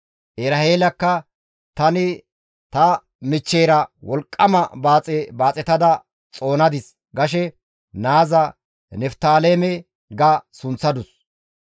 Eraheelakka, «Tani ta michcheyra wolqqama baaxe baaxetada xoonadis» gashe naaza Niftaaleme ga sunththadus.